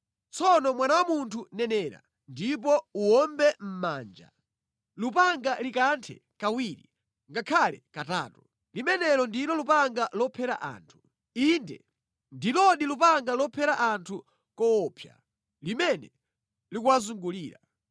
“Tsono mwana wa munthu, nenera ndipo uwombe mʼmanja. Lupanga likanthe kawiri ngakhale katatu. Limenelo ndilo lupanga lophera anthu. Inde ndilodi lupanga lophera anthu koopsa limene likuwazungulira.